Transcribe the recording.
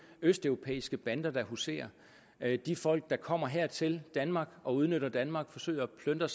østeuropæiske bander der huserer de folk der kommer her til danmark og udnytter danmark forsøger at plyndre